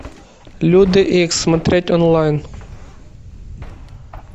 люди икс смотреть онлайн